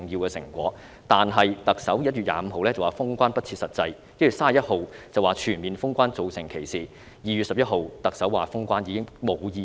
但是，特首在1月25日指封關不切實際，在1月31日指全面封關造成歧視，而在2月11日，特首說封關已經"無意思"。